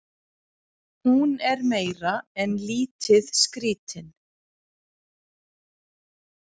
Hún er meira en lítið skrítin.